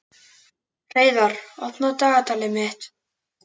Hreiðar, opnaðu dagatalið mitt.